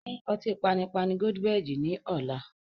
Pín ọtí panipani "Goldberg" ni ọ̀la.